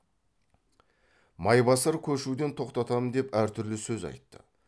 майбасар көшуден тоқтатам деп әр түрлі сөз айтты